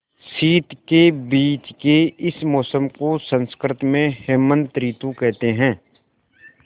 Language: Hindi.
शीत के बीच के इस मौसम को संस्कृत में हेमंत ॠतु कहते हैं